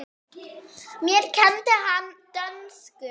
Mér kenndi hann dönsku.